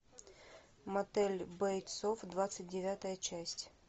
мотель бейтсов двадцать девятая часть